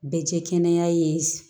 Bɛ jɛ kɛnɛya ye